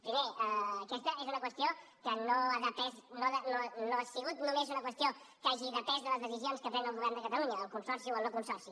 primer aquesta no ha sigut només una qüestió que hagi depès de les decisions que pren el govern de catalunya el consorci o el no consorci